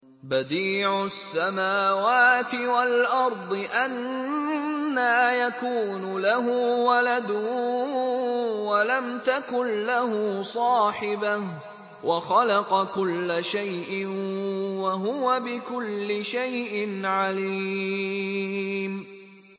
بَدِيعُ السَّمَاوَاتِ وَالْأَرْضِ ۖ أَنَّىٰ يَكُونُ لَهُ وَلَدٌ وَلَمْ تَكُن لَّهُ صَاحِبَةٌ ۖ وَخَلَقَ كُلَّ شَيْءٍ ۖ وَهُوَ بِكُلِّ شَيْءٍ عَلِيمٌ